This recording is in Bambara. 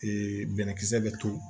bɛnɛkisɛ bɛ to